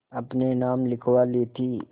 अपने नाम लिखवा ली थी